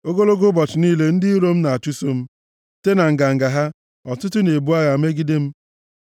Ogologo ụbọchị niile ndị iro m na-achụso m; site na nganga ha, ọtụtụ na-ebu agha megide m.